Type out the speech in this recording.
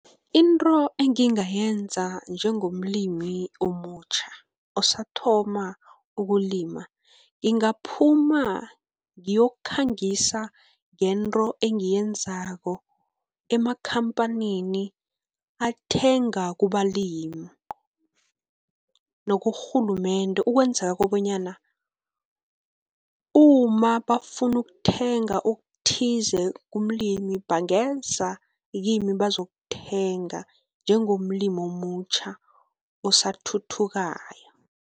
Into engingayenza njengomlimi omutjha osathoma ukulima, ngingaphuma ngiyokukhangisa ngento engiyenzako emakhampanini athenga kubalimi, nakurhulumende ukwenzela kobanyana uma bafuna ukuthenga okuthize kumlimi bangena kimi bazokuthenga njengomlimi omutjha osathuthukayo.